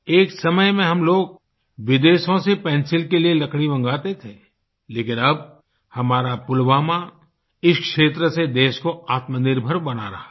एक समय में हम लोग विदेशों से पेंसिल के लिए लकड़ी मंगवाते थे लेकिन अब हमारा पुलवामा इस क्षेत्र से देश को आत्मनिर्भर बना रहा है